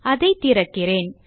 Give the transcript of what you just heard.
அதை திறக்கிறேன்